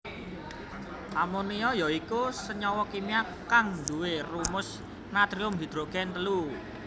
Amonia ya iku senyawa kimia kang duwé rumus natrium hidrogen telu